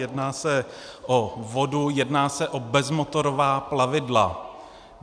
Jedná se o vodu, jedná se o bezmotorová plavidla.